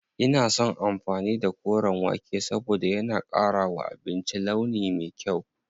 Ina son amfani da koren wake saboda yana ƙara wa abinci launi me kyau.